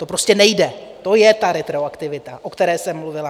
To prostě nejde, to je ta retroaktivita, o které jsem mluvila.